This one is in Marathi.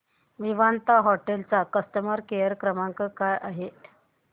विवांता हॉटेल चा कस्टमर केअर क्रमांक काय आहे